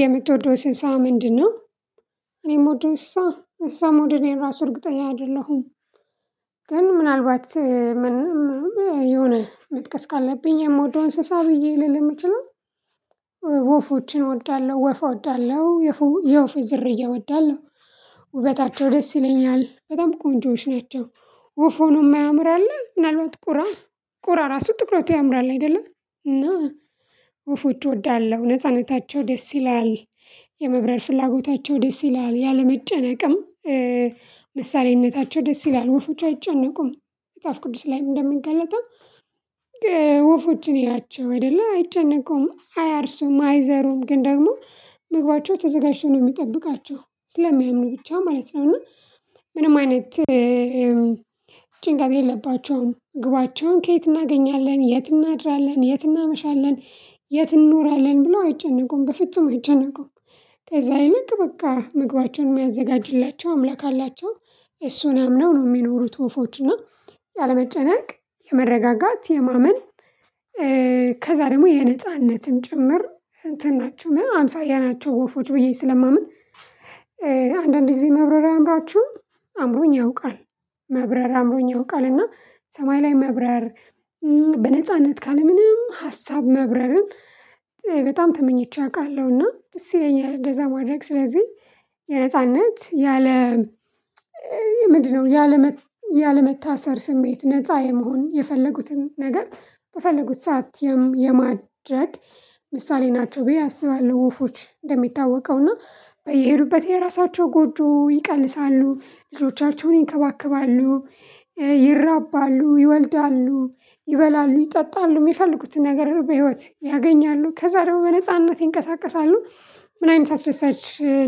የምትወደው እንስሳ ምንድነው? እኔ ምወደው እንስሳ እንስሳ መውደዴን እኔ ራሱ እርግጠኛ አይደለሁም። ግን ምናልባት ምንም የሆነ መጥቀስ ካለብኝ የምወደው እንስሳ ብዬ ልል የምችለው። ወፎችን እወዳለሁ ወፍ እወዳለሁ የወፍ ዝርዬ እወዳለሁ። ውበታቸው ደስ ይለኛል በጣም ቆንጆዎች ናቸው። ወፍ ሆኖ ማያምር አለ ምናልባት ቁራ። ቁራ ራሱ ጥቁረቱ ያምራል አይደለ። እና ወፎች እወዳለሁ ነጻነታቸው ደስ ይላል የመብራር ፍላጎታቸው ደስ ይላል ያለመጨነቅም። መሳሪያነታቸው ደስ ይላል ወፎች አይጨነቁም። መፅሀፍ ቅዱስ ላይም እንደሚገለጠው። ወፎችን እዩአቸው አይደለ አይጨነቀውም አያርሱም አይዘሩም ግን ደግሞ ምግባቸው ተዘጋጅቶ ነው የሚጠብቃቸው ስለሚያምኑ ብቻ ማለት ነው። እና ምንም አይነት ጭንቀት የለባቸውም። ግባቸውን ከየት እናገኛለን የት እናድራለን የት እናመሻለን የት እንኖራለን ብለው አይጨነቀውም በፍጹም አይጨነቁም። ከዛ አይነት በቃ ምግባቸውን የሚያዘጋጅላቸው አምላክ አላቸው። እሱን አምነው ነው የሚኖሩት። ወፎች እና ያለመጨነቅ የመረጋጋት የማመን ከዛ ደግሞ የነጻነትም ጭምር እንትን ናቸው አምሳያ ናቸው ወፎች ብዬ ስለማምን። አንዳንድ ጊዜ መብረር አያምሯችሁም አምሮኝ ያውቃል። መብረር አምሩኝ ያውቃል እና ሰማይ ላይ መብረር። በነጻነት ካለ ምንም ሀሳብ መብረርም በጣም ተመኝቼ አውቃለሁና ደስ ይለኛል እንደዛ ማድረግ ስለዚህ። የነጻነት ያለ ምንድነው? ያለመታሰር ስሜት ነፃ የመሆን የፈለጉትን ነገር በፈለጉት ሰዓት የማድረግ ምሳሌ ናቸው ብዬ አስባለሁ። ወፎች እንደሚታወቀው እና በየሄዱበት የራሳቸው ጎጆ ይቀልሳሉ ልጆቻቸውን ይከባከባሉ። ይራባሉ ይወልዳሉ ይበላሉ ይጠጣሉ የሚፈልጉትን ነገር በህይወት ያገኛሉ ከዛ ደግሞ በነጻነት ይንቀሳቀሳሉ። ምን አይነት አስደሳች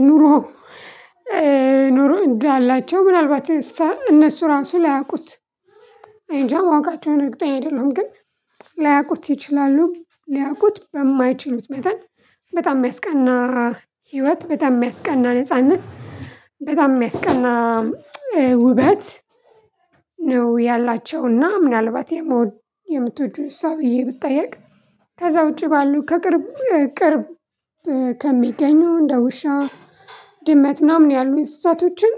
ኑሮ። ኑሮ እንዳላቸው ምናልባት እንስሳ እነሱ ራሱ ላያውቁት። እኔንጃ ማወቃቸውን እርግጠኛ አይደለሁም ግን። ላያውቁት ይችላሉ ሊያውቁት በማይችሉት መጠን። በጣም የሚያስቀና ህይወት በጣም የሚያስቀና ነጻነት። በጣም የሚያስቀና ውበት። ነው ያላቸውና ምናልባት የምትወጅው ሰው ብዬ ብጠየቅ። ከዛ ውጪ ባሉ ከቅርብ ቅርብ ከሚገኙ እንደ ውሻ ድመት ምናምን ያሉኝ እንስሳቶችን።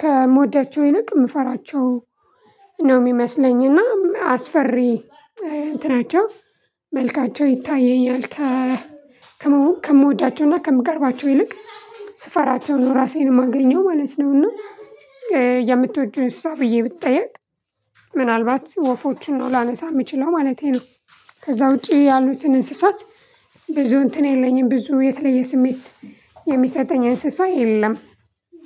ከምወዳቸው ይልቅ የምፈራቸው ነው የሚመስለኝ እና አስፈሪ እንትናቸው መልካቸው ይታየኛል። ከምወዳቸውና ከምቀርባቸው ይልቅ ስፈራቸውን ራሴን የማገኘው ማለት ነው። እና የምትወጂውን እንስሳ ብዬ ብጠየቅ። ምናልባት ወፎቹን ነው ላነሳ የምችለው ማለቴ ነው። ከዛ ውጪ ያሉትን እንስሳት። ብዙ እንትን የለኝም ብዙ የተለየ ስሜት የሚሰጠኝ እንስሳ የለም።